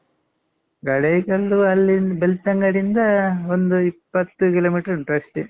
ಗಡಾಯಿಕಲ್ಲು ಅಲ್ಲಿಂದ್ ಬೆಳ್ತಂಗಡಿಯಿಂದ ಒಂದು ಇಪ್ಪತ್ತು kilometer ಅಷ್ಟೇ.